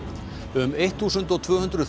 um eittþúsund og tvöhundruð